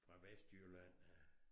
Fra Vestjylland af